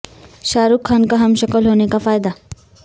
شاہ رخ خان کا ہم شکل ہونے کا فائدہ